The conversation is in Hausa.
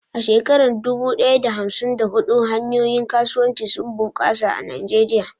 A shekarar dubu ɗaya da hamsin da huɗu, hanyoyin kasuwanci sun bunƙasa a Najeriya.